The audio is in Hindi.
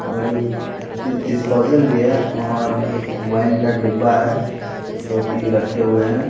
और एक डिस्पोजल भी है और एक वाइन का डिब्बा है जो कि रखे हुए हैं।